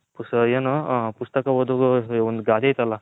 ಏನು ಪುಸ್ತಕ ಓದು ಒಂದ್ ಗಾದೆ ಆಯ್ತ್ ಅಲ್ಲ